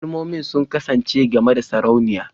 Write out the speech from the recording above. Kalmomin sun kasance game da Sarauniya